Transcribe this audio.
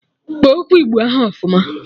Kpọọ okwu igbo ahụ ọfụma!